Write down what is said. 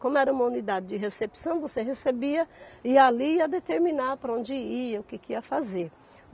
Como era uma unidade de recepção, você recebia e ali ia determinar para onde ia, o que que ia fazer.